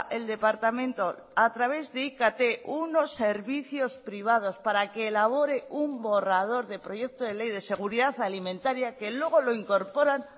el departamento a través de ikt unos servicios privados para que elabore un borrador de proyecto de ley de seguridad alimentaria que luego lo incorporan